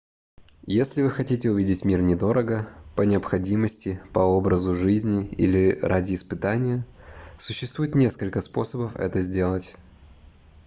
если вы хотите увидеть мир недорого по необходимости по образу жизни или ради испытания существует несколько способов это сделать